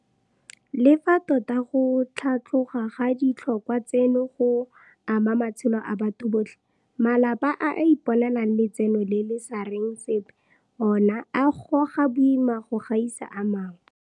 Le fa tota go tlhatloga ga ditlhotlhwa tseno go ama matshelo a batho botlhe, malapa a a iponelang letseno le le sa reng sepe ona a goga boima go gaisa a mangwe.